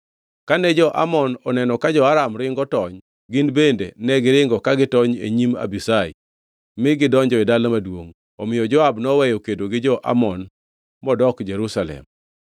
Kane jo-Amon oneno ka jo-Aram ringo tony, gin bende negiringo ka gitony e nyim Abishai mi gidonjo e dala maduongʼ. Omiyo Joab noweyo kedo gi jo-Amon modok Jerusalem.